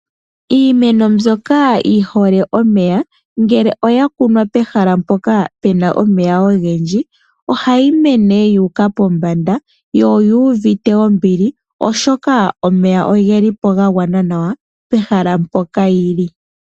Iimeno mbyoka yi hole omeya ngele oya kunwa pehala mpoka pu na omeya ogendji ohayi mene yu uka pombanda yo oyi ivute ombili, oshoka omeya ogeli po ga gwana nawa pehala mpoka yi li.